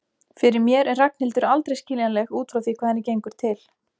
Fyrir mér er Ragnhildur aldrei skiljanleg út frá því hvað henni gengur til.